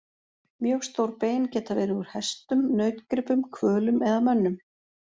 Mjög stór bein geta verið úr hestum, nautgripum, hvölum eða mönnum.